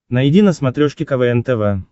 найди на смотрешке квн тв